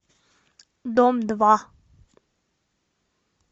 дом два